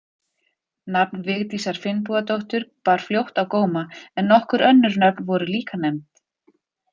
Nafn Vigdísar Finnbogadóttur bar fljótt á góma en nokkur önnur nöfn voru líka nefnd.